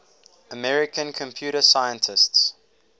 american computer scientists